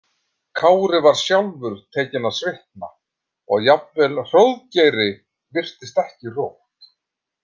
Kári var sjálfur tekinn að svitna og jafnvel Hróðgeiri virtist ekki rótt.